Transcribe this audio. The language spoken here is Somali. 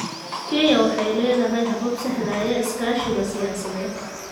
Kenya waxay leedahay habab sahlaya iskaashiga siyaasadeed.